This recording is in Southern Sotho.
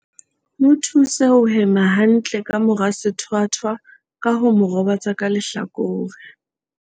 Mo thuse ho hema hantle ka mora sethwathwa ka ho mo robatsa ka lehlakore.